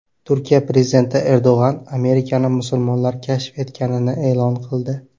Turkiya prezidenti Erdo‘g‘an Amerikani musulmonlar kashf etganini e’lon qildi.